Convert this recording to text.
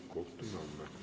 Kohtume homme.